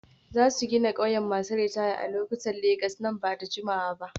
Za su gina ƙauyen masu ritaya a Ikotun Legas nan ba da jimawa ba.